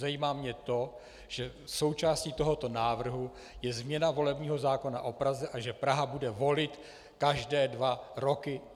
Zajímá mě to, že součástí tohoto návrhu je změna volebního zákona o Praze a že Praha bude volit každé dva roky.